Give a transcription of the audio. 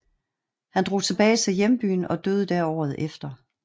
Han drog tilbage til hjembyen og døde der året efter